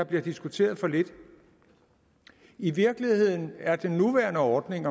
bliver diskuteret for lidt i virkeligheden er den nuværende ordning